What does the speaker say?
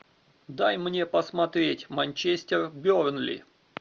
дай мне посмотреть манчестер бернли